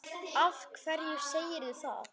Af hverju segirðu það?